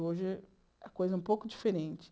Hoje é uma coisa um pouco diferente.